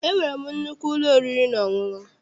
E nwere m nnukwu ụlọ oriri na ọṅụṅụ.